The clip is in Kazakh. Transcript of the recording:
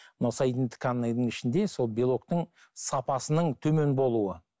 мына ішінде сол белоктің сапасының төмен болуы